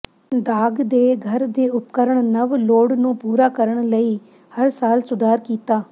ਦਾਗ ਦੇ ਘਰ ਦੇ ਉਪਕਰਣ ਨਵ ਲੋੜ ਨੂੰ ਪੂਰਾ ਕਰਨ ਲਈ ਹਰ ਸਾਲ ਸੁਧਾਰ ਕੀਤਾ